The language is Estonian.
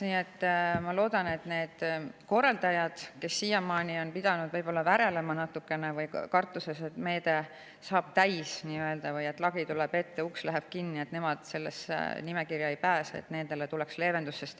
Nii et ma loodan, et nendele korraldajatele, kes siiamaani on pidanud võib-olla natukene kartuses värelema, et meetme saab täis või lagi tuleb ette, uks läheb kinni ja nemad sellesse nimekirja ei pääse, tuleb see leevendusena.